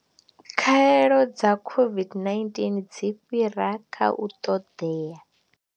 Khaelo dza COVID-19 dzi fhira kha u ṱoḓea.